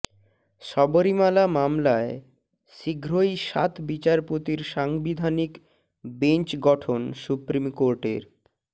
শবরীমালা মামলায় শীঘ্রই সাত বিচারপতির সাংবিধানিক বেঞ্চ গঠন সুপ্রিম কোর্টের